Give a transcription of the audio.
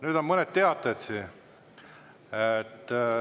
Nüüd on teade.